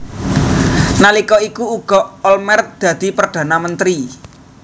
Nalika iku uga Olmert dadi Perdana Menteri